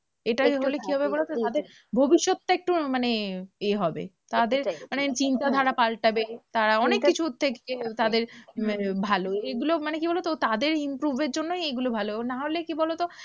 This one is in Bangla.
এটা হলে কি হবে বলো তো? তাদের ভবিষ্যৎটা একটু মানে এ হবে তাদের মানে চিন্তাধারা পাল্টাবে, তারা অনেক কিছুর থেকে তাদের আহ ভালো, এগুলো মানে কি বলো তো? তাদের improve এর জন্যই এইগুলো ভালো না হলে কি বলো তো?